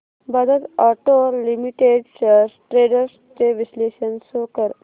Bajaj auto limited shares trends चे विश्लेषण show कर